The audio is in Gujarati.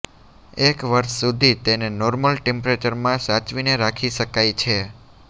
એક વર્ષ સુધી તેને નોર્મલ ટેમ્પરેચરમાં સાચવીને રાખી શકાય છે